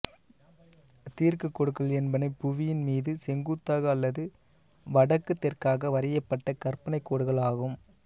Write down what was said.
தீர்க்கக் கோடுகள் என்பன புவியின் மீது செங்குத்தாக அல்லது வடக்குத் தெற்காக வரையப்பட்ட கற்பனை கோடுகள் ஆகும்